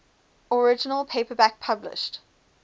original paperback published